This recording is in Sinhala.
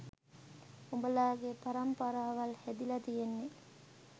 උඹලගේ පරම්පරාවල් හැදිල තියෙන්නේ